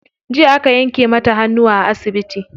Jiya aka yanke mata hannu a asibiti.